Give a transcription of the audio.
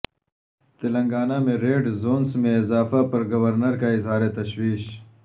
تلنگانہ میں red zones میں اضافہ پر گورنر کا اظہار تشویش